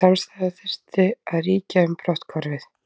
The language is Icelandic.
Samstaða þyrfti að ríkja um brotthvarfið